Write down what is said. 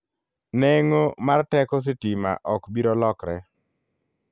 Neng'o mar teko sitima ok biro lokre.